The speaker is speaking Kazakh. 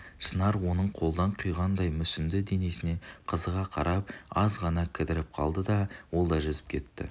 шынар оның қолдан құйғандай мүсінді денесіне қызыға қарап аз ғана кідіріп қалды да ол да жүзіп кетті